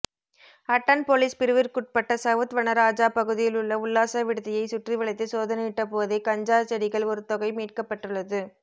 attend police பிரிவிற்குட்பட்ட south Vanaraja பகுதியிலுள்ள உல்லாச விடுதியை சுற்றிவளைத்து சோதணையிட்டபோதே கஞ்சா செடிகள் ஒருதொகை மீட்கப்பட்டுள்ளது